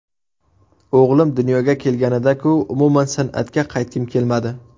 O‘g‘lim dunyoga kelganida-ku umuman san’atga qaytgim kelmadi.